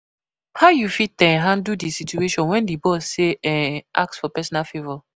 How you fit um handle di situation when di boss dey um ask for personal favor?